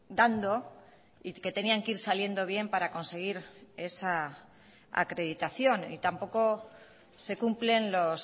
dando y que tenían que ir saliendo bien para conseguir esa acreditación y tampoco se cumplen los